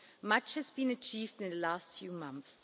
Much has been achieved in the last few months.